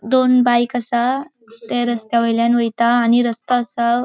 दोन बाइक आसा ते रस्त्या वोयल्यान वयता आणि रस्तो आसा .